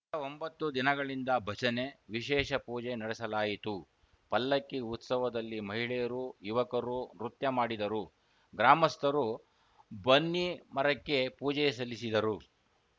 ಕಳೆದ ಒಂಬತ್ತು ದಿನಗಳಿಂದ ಭಜನೆ ವಿಶೇಷ ಪೂಜೆ ನಡೆಸಲಾಯಿತು ಪಲ್ಲಕ್ಕಿ ಉತ್ಸವದಲ್ಲಿ ಮಹಿಳೆಯರು ಯುವಕರು ನೃತ್ಯ ಮಾಡಿದರು ಗ್ರಾಮಸ್ಥರು ಬನ್ನಿ ಮರಕ್ಕೆ ಪೂಜೆ ಸಲ್ಲಿಸಿದರು